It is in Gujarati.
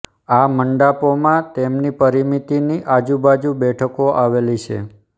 આ મંડાપોમાં તેમની પરિમિતિની આજુબાજુ બેઠકો આવેલી છે